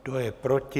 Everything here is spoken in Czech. Kdo je proti?